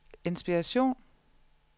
inspiration